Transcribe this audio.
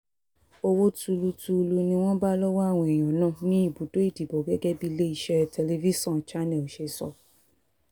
owó tuulu tuulu ni wọ́n bá lọ́wọ́ àwọn èèyàn náà ní ibùdó ìdìbò gẹ́gẹ́ bí iléeṣẹ́ tẹlifíṣọ̀n channel ṣe sọ